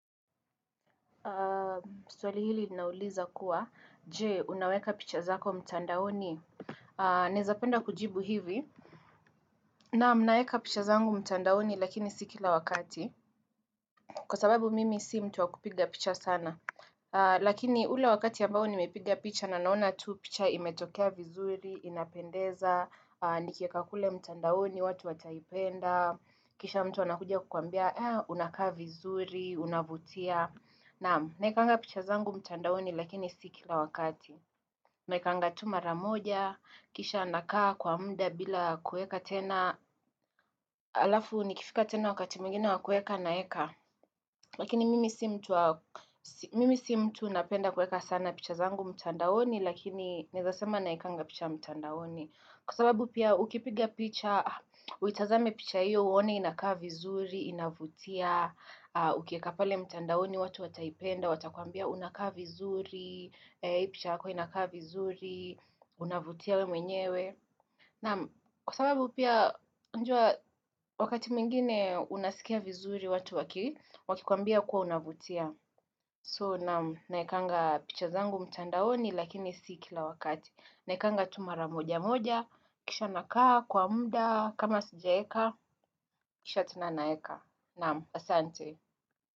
Swali hili linauliza kuwa, je, unaweka picha zako mtandaoni. Naezapenda kujibu hivi. Naam, naweka picha zangu mtandaoni lakini si kila wakati. Kwa sababu mimi si mtu wa kupiga picha sana. Lakini ule wakati ambao nimepiga picha na naona tu picha imetokea vizuri, inapendeza, nikieka kule mtandaoni, watu wataipenda, kisha mtu anakuja kukuambia, eh, unakaa vizuri, unavutia. Naam naekanga picha zangu mtandaoni lakini si kila wakati. Nawekanga tu maramoja, kisha nakaa kwa muda bila kuweka tena, alafu nikifika tena wakati mwingine wa kueka naeka. Lakini mimi si mtu napenda kuweka sana picha zangu mtandaoni lakini naeza sema naekanga picha mtandaoni. Kwa sababu pia ukipiga picha, uitazame picha hiyo uone inakaa vizuri, inavutia, ukiekapale mtandaoni watu wataipenda, watakuambia unakaa vizuri, picha yako inakaa vizuri, unavutia we mwenyewe. Na kwa sababu pia unajua wakati mwingine unasikia vizuri watu waki, wakikuambia kuwa unavutia. So naam, naekanga picha zangu mtandaoni, lakini si kila wakati. Naekanga tu mara moja moja, kisha nakaa, kwa muda, kama sijaeka, kisha tena naeka. Naam, asante.